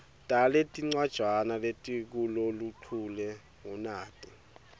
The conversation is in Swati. taletincwajana letikuloluchule ngunati